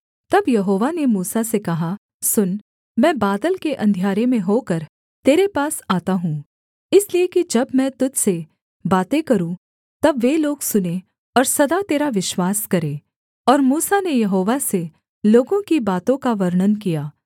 तब यहोवा ने मूसा से कहा सुन मैं बादल के अंधियारे में होकर तेरे पास आता हूँ इसलिए कि जब मैं तुझ से बातें करूँ तब वे लोग सुनें और सदा तेरा विश्वास करें और मूसा ने यहोवा से लोगों की बातों का वर्णन किया